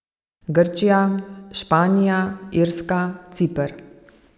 Grčija, Španija, Irska, Ciper.